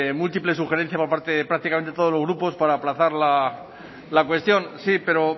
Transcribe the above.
múltiples sugerencias por parte de prácticamente todos los grupos para aplazar la cuestión sí pero